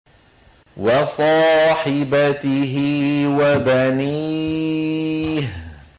وَصَاحِبَتِهِ وَبَنِيهِ